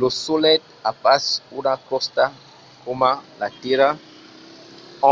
lo solelh a pas una crosta coma la tèrra